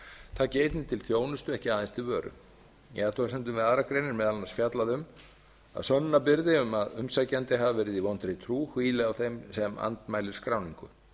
taki einnig til þjónustu ekki aðeins vil vöru í athugasemdum við aðra grein er meðal annars fjallað um að sönnunarbyrði að umsækjandi hafi verið í vondri trú hvíli á þeim sem andmælir skráningu